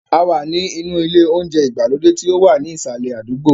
A wà ní inú ilé oúnjẹ ìgbàlódé tí ó wà ní ìsàlẹ̀ àdúgbò.